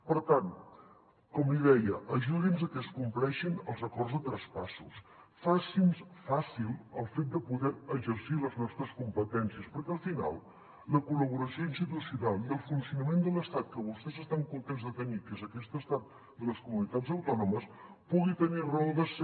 per tant com li deia ajudi’ns a que es compleixin els acords de traspassos faci’ns fàcil el fet de poder exercir les nostres competències perquè al final la col·laboració institucional i el funcionament de l’estat que vostès estan contents de tenir que és aquest estat de les comunitats autònomes pugui tenir raó de ser